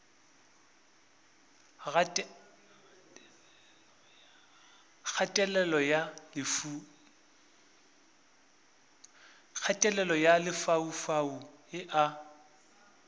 kgatelelo ya lefaufau e a